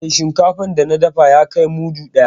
Eh, shinkafan da na dafa ya kai mudu ɗaya.